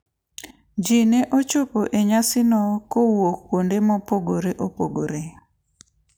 Ji ne ochopo e nyasino kowuok kuonde mopogore opogore.